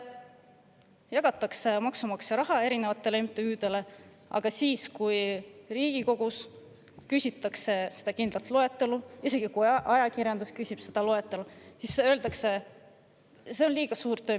" Maksumaksja raha jagatakse erinevatele MTÜ-dele ja kui Riigikogu küsib selle kohta loetelu, isegi kui ajakirjandus seda küsib, siis öeldakse: "See on liiga suur töö.